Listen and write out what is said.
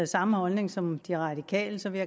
samme holdning som de radikale så vil